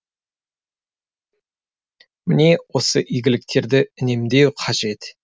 міне осы игіліктерді үнемдеу қажет